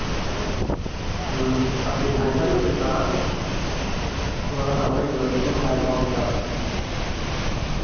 हम्म असे भारी भारी होते नाआज तुम्हाला सांगू नाही शकत एकदम भारी माहोल होता आज.